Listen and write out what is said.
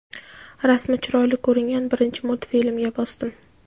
rasmi chiroyli ko‘ringan birinchi multfilmga bosdim.